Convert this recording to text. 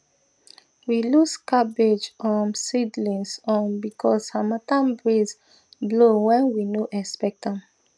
we lose cabbage um seedlings um because harmattan breeze blow when we no expect am